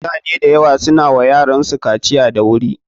Mutane da yawa su na wa yaransu kaciya da wuri.